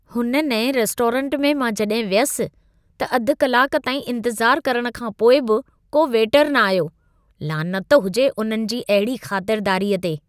हुन नएं रेस्टोरेंट में मां जॾहिं वियसि, त अधु कलाक ताईं इंतज़ार करण खां पोइ बि को वेटर न आयो। लानत हुजे उन्हनि जी अहिड़ी ख़ातिरदारीअ ते।